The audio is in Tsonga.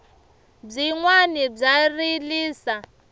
byinwani bya rilisa